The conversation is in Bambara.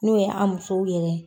N'o ye an musow yɛrɛ ye.